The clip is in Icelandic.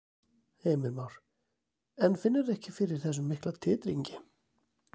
Heimir Már: En finnurðu ekki fyrir þessum mikla titringi?